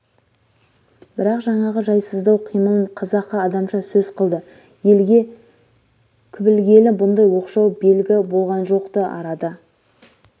бірақ жаңағы жайсыздау қимылын қазақы адамша сөз қылды елге кблгелі бұндай оқшау белгі болған жоқ-ты арада